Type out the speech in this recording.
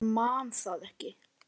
Hann man það ekki.